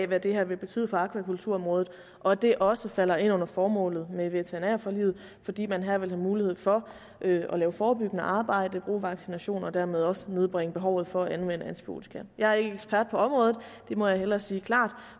hvad det her vil betyde for akvakulturområdet og at det også falder ind under formålet med veterinærforliget fordi man her vil have mulighed for at lave forebyggende arbejde bruge vaccinationer og dermed også nedbringe behovet for at anvende antibiotika jeg er ikke ekspert på området det må jeg hellere sige klart